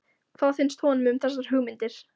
Hvað finnst honum um þessar hugmyndir?